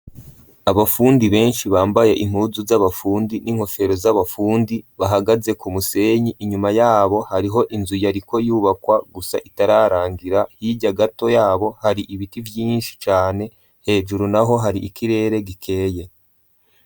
Abafundi benshi bambaye impuzu z'abafundi n'inkofero z'abafundi bahagaze ku musenyi, inyuma yabo hariho inzu yariko yubakwa gusa itararangira, hirya gato yabo hari ibiti vyinshi cane hejuru naho hari ikirere gikeye.